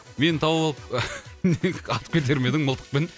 мені тауып алып атып кетер ме едің мылтықпен